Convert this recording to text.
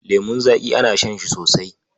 Lemun zaƙi ana shan shi sosai.